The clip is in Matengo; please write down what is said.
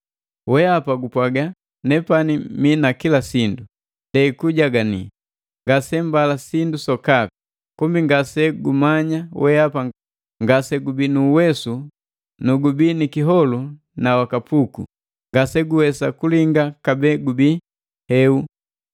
Weapa gupwaga, ‘Nepani mina kila sindu; ndei kujagani, ngase mbala sindu sokapi;’ kumbi ngase gumanya weapa ngase gubii nu uwesu nu gubii ni kiholu na wa kapuku, ngase guwesa kulinga kabee gubii heu!